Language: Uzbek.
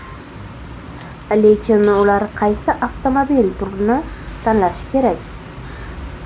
Lekin ular qaysi avtomobil turini tanlashi kerak?